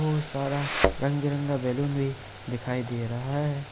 बहुत सारा रंग बिरंगा बैलून भी दिखाई दे रहा है।